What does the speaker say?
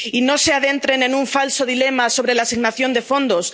Y no se adentren en un falso dilema sobre la asignación de fondos.